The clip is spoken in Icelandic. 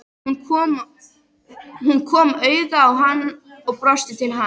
Hún kom auga á hann og brosti til hans.